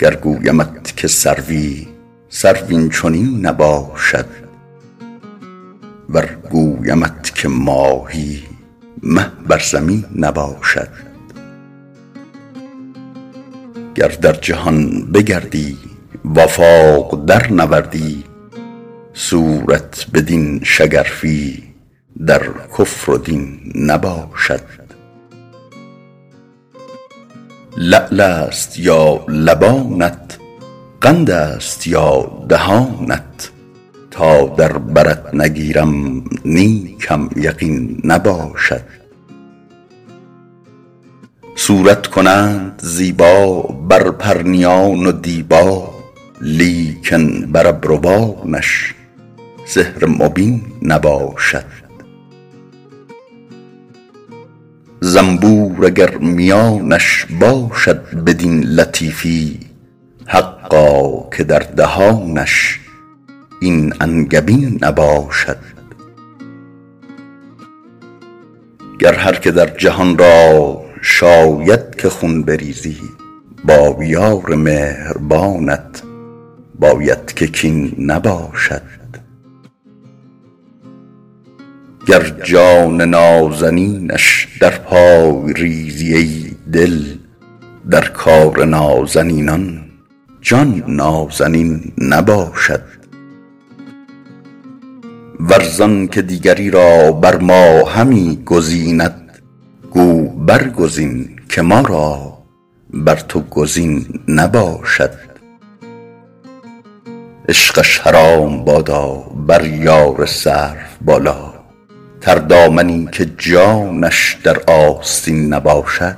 گر گویمت که سروی سرو این چنین نباشد ور گویمت که ماهی مه بر زمین نباشد گر در جهان بگردی و آفاق درنوردی صورت بدین شگرفی در کفر و دین نباشد لعل است یا لبانت قند است یا دهانت تا در برت نگیرم نیکم یقین نباشد صورت کنند زیبا بر پرنیان و دیبا لیکن بر ابروانش سحر مبین نباشد زنبور اگر میانش باشد بدین لطیفی حقا که در دهانش این انگبین نباشد گر هر که در جهان را شاید که خون بریزی با یار مهربانت باید که کین نباشد گر جان نازنینش در پای ریزی ای دل در کار نازنینان جان نازنین نباشد ور زان که دیگری را بر ما همی گزیند گو برگزین که ما را بر تو گزین نباشد عشقش حرام بادا بر یار سروبالا تردامنی که جانش در آستین نباشد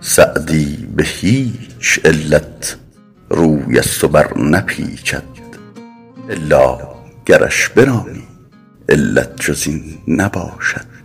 سعدی به هیچ علت روی از تو برنپیچد الا گرش برانی علت جز این نباشد